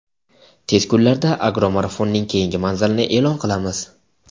tez kunlarda "Agro marafon"ning keyingi manzilini e’lon qilamiz!.